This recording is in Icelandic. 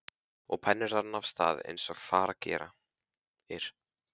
Og penninn rann af stað eins og fara gerir.